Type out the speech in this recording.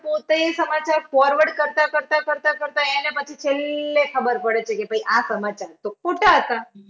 પોતે એ સમાચાર forward કરતા કરતા કરતા કરતા એને પછી છેલ્લે ખબર પડે છે કે ભાઈ આ સમાચાર તો ખોટા હતા.